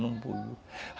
Não boiou.